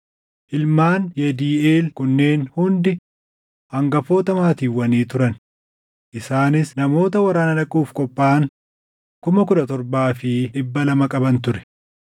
Ilmaan Yediiʼeel kunneen hundi hangafoota maatiiwwanii turan. Isaanis namoota waraana dhaquuf qophaaʼan 17,200 qaban ture.